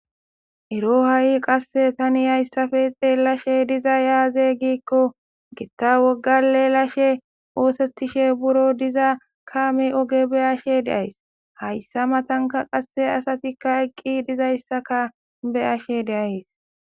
ero ha7i qasse tani hayssafe xeelashe dizay aaze giikko gitta wogga lelashe oosettishe buro diza kaame oge beyashe deays hayssa matanka qasse asatikka eqqi dizayssaka beyashe deays